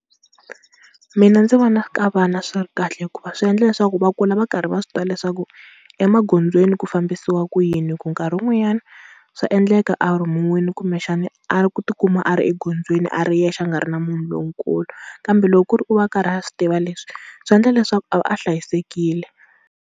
Mina ndzi vona ka vana swi ri kahle hikuva swi endla leswaku va kula va karhi va swi tiva leswaku emagondzweni ku fambisiwa ku yini, hi ku nkarhi wun'wanyani swa endleka a rhumiwile kumbexana a ku tikuma a ri egondzweni a ri yexe a nga ri na munhu lonkulu, kambe loko ku ri u va a karhi a swi tiva leswi swi endla leswaku a va a hlayisekile.